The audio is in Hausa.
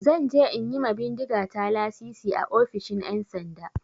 Zan je in yi ma bindigata lasisi a ofishin 'yansanda.